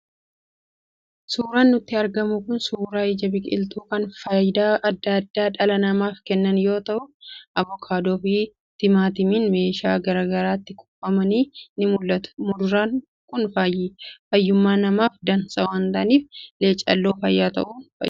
Suuraan nutti argamu kun suuraa ija biqiltuu kan faayidaa adda addaa dhala namaaf kennan yoo ta'u, avokaadoo fi timaatimiin meeshaa gara garaatti kuufamanii ni mul'atu. Muduraan kun fayyummaa namaaf dansaa waan ta'aniif, leecalloo fayyaa ta'uun beekamu.